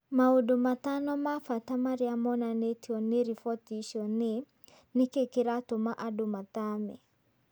Maũndũ matano ma bata marĩa monanĩtio nĩ riboti icio nĩ: Nĩ kĩĩ kĩratũma andũ mathame?